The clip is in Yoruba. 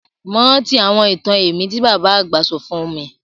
Mo rántí àwọn itan ẹ̀mí ti baba àgbà sọ fun mi